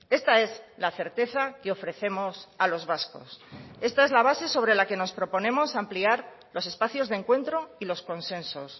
esta es la certeza que ofrecemos a los vascos esta es la base sobre la que nos proponemos ampliar los espacios de encuentro y los consensos